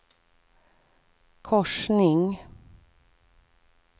korsning